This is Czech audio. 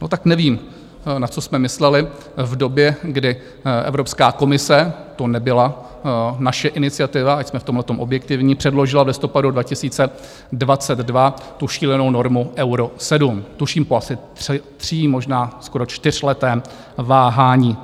No, tak nevím, na co jsme mysleli v době, kdy Evropská komise - to nebyla naše iniciativa, ať jsme v tomhletom objektivní - předložila v listopadu 2022 tu šílenou normu Euro 7, tuším po asi tří-, možná skoro čtyřletém váhání.